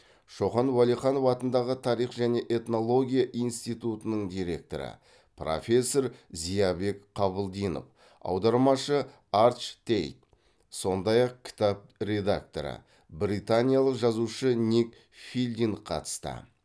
шоқан уәлиханов атындағы тарих және этнология институтының директоры профессор зиябек қабылдинов аудармашы арч тейт сондай ақ кітап редакторы британиялық жазушы ник филдинг қатысты